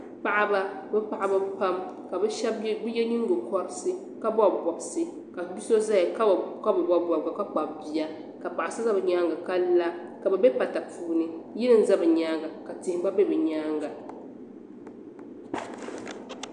Paɣaba bɛ Paɣaba pam ka bɛ shɛbi ye nyingo kɔriti ka bɔbi bobisi ka biso zaya ka bi bobi bobiga ka kpabi bia ka paɣa so za bɛ nyaaŋa ka la ka bɛ be pata puuni yili n za bɛ nyaaŋa ka tihi gba be bɛ nyaaŋa.